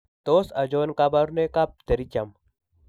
Tos achon kabarunaik ab Pterygium ?